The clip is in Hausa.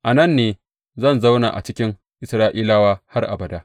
A nan ne zan zauna a cikin Isra’ilawa har abada.